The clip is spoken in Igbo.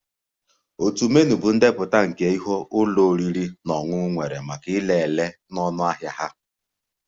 Otu menu bụ ndepụta nke ihe ụlọ oriri na ọṅụṅụ nwere maka ire ere na ọnụahịa ha